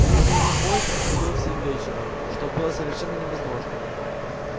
нужный ему поезд отходил в семь вечера что было совершенно невозможно